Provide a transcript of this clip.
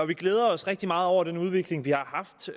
vi glæder os rigtig meget over den udvikling vi har haft